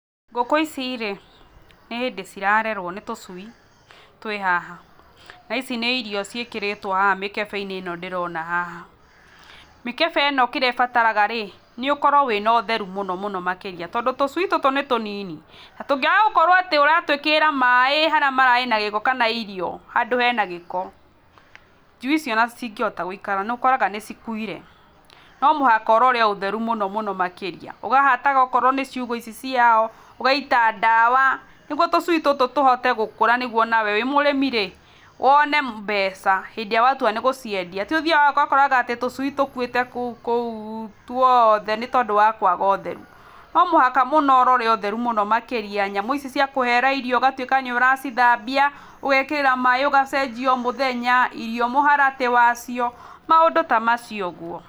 Ngũkũ ici rĩ, nĩhĩndĩ cirarerwo, nĩ tũcui, twĩ haha, na ici nĩ irio ciĩkĩrĩtwo haha mĩkebe-inĩ ĩno ndĩrona haha, mĩkebe ĩno kĩrĩa ĩbataraga rĩ, nĩũkorwo wĩna ũtheru mũno mũno makĩria, tondũ tũcui tũtũ nĩtũ nini, na tũngĩaga gũkorwo atĩ ũratwĩkĩrĩra maĩ harĩa mararĩ na gĩko kana irio handũ hena gĩko, njui icio ona citingĩhota gũikara, nĩũkoraga nĩcikwire, nomũhaka ũrore ũtheru mũno mũno makĩria, ũkahataga okorwo nĩ ciugũ ici ciao, ũgaita ndawa, nĩguo tũcui tũtũ tũhote gũkũra nanĩguo nawe wĩ mũrĩmi rĩ wone mbeca, hĩndĩ ĩrĩa watua nĩ gũciendia, tiũthiage ũgakora atĩ tũcui tũkuĩte kũu guothe nĩtondũ wa kwaga ũtheru, nomũhaka mũno ũrore ũtheru mũno makĩria, nyamũ ici ciakũhera irio ũgatwĩka nĩ ũracithambia, ũgekĩra maĩ ũgacenjia o mũthenya irio mũharatĩ wacio, maũndũ ta macio ũguo.